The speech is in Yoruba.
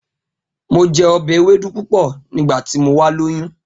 Mo je obe ewedu pupo nigbati mo wa loyun.